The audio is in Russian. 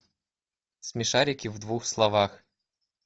смешарики в двух словах